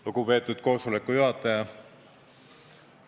Lugupeetud koosoleku juhataja!